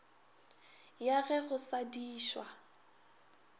ya ge go sa dišwa